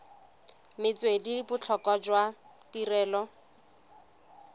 metswedi le botlhokwa jwa tirelo